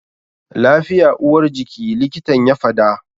Lafiya uwar jiki, likitan ya fada.